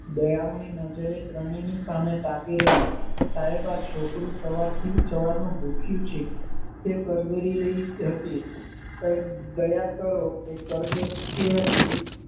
દયામણી નજરે ત્રણેય ની સામે તાકી રહી સાહેબ આ છોકરું સવારનું ભૂખ્યું છે. તે કરગરી રહી હતી દયા કરો એ કરગરતી હતી.